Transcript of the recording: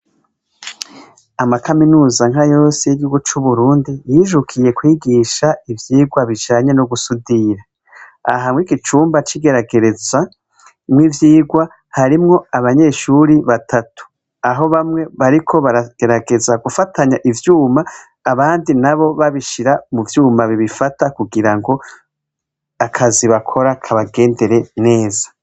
Amakaminuza nka yose y'giwa c'uburundi yijukiye kwigisha ivyirwa bijanye no gusudira, ahamwe igicumba cigeragerezamwo ivyirwa harimwo abanyeshuri batatu aho bamwe bariko baragerageza gufatanya ivyuma abandi na bo babishire mvyuma bibifata kugira ngo akazibakora kabagendere neza.